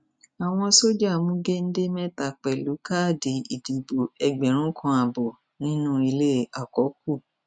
àwọn sójà mú géńdé mẹta pẹlú káàdì ìdìbò ẹgbẹrún kan ààbọ nínú ilé àkọkù